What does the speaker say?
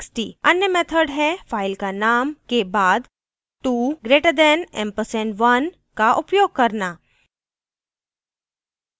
अन्य method है file नाम के बाद 2 greater than ampersand 1 का उपयोग करना